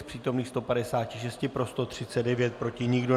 Z přítomných 156 pro 139, proti nikdo.